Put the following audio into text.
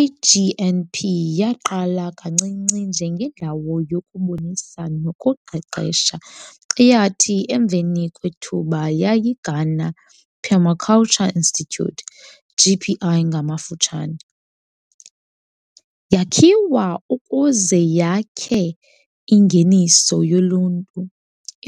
IGNP yaqala kancinci njengendawo yokubonisa nokuqeqesha eyathi emveni kwethuba yayiGhana Permaculture Institute, GPI ngamafutshane. Yakhiwa ukuze yakhe ingeniso yoluntu